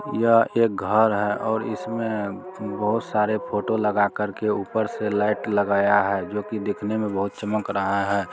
यह एक घर है और इसमें बहुत सारे फोटो लगाकर के ऊपर से लाइट लगाया है जो की देखने मे बहुत चमक रहा है।